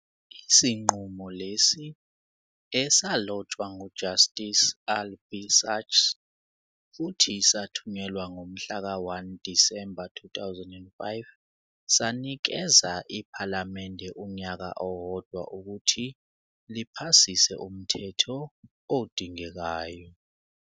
Isinqumo lesi, esalotshwa nguJustice Albie Sachs futhi sathunyelwa ngomhlaka 1 Disemba 2005, sanikeza iPhalamende unyaka owodwa ukuthi liphasise umthetho odingekayo.